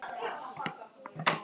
En segðu mér eitt